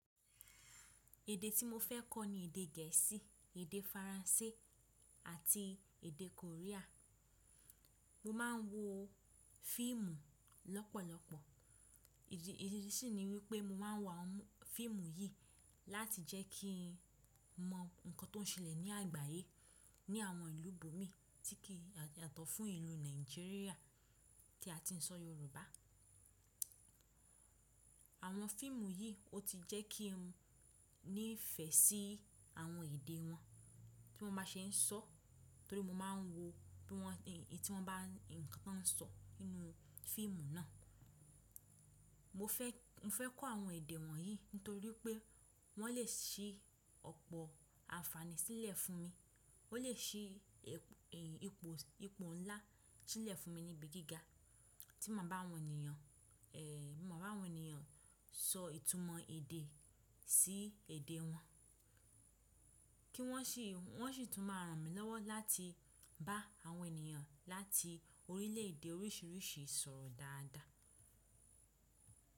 Èdè tí mo fẹ́ kọ́ ni èdè Gẹ̀ẹ́sì, èdè Faransé àti èdè Korea. Mo máa ń wo fíìmù lọ́pọ̀lọpọ̀. Ìdí, ìdí sì ni wípé mo máa ń wo àwọn fíìmù yìí láti jẹ́ kí n mọ nǹkan tó ń ṣẹlẹ̀ ní àgbáyé ní àwọn ìlú bòmí tí kìí yàtọ̀ fún ìlú Nàìjíríà tí a ti ń sọ Yorùbá. Àwọn fíìmù yìí ó ti jẹ́ kí n nífẹ̀ẹ́ sí àwọn èdè wọn tí won bá ṣe ń sọ torí mo máa ń wo bí wọ́n, èyí tí wọ́n bá nǹkantan sọ nínú fíìmù náà. Mo fẹ́, mo fẹ́ kọ́ àwọn èdè wọ̀nyí nítorí pé wọ́n lè ṣí ọ̀pọ̀ àǹfààní sílẹ̀ fún mi. Ó lè ṣí ẹ̀, ipò, ipò ńlá sílẹ̀ fún mi níbi gíga tí ma bá àwọn ènìyàn, tí ma bá àwọn ènìyàn sọ ìtumọ̀ èdè sí èdè wọn. Kí wọ́n sì, wọ́n sì tún máa ràn mí lọ́wọ́ láti bá àwọn ènìyàn láti orílẹ̀èdè oríṣìíríṣìí sọ̀rọ̀ dáadáa.